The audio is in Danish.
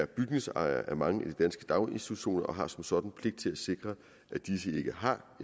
bygningsejere af mange af de danske daginstitutioner og har som sådan pligt til at sikre at disse ikke har